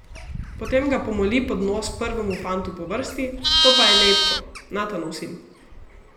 Potem ga pomoli pod nos prvemu fantu po vrsti, to pa je Lejbko, Natanov sin.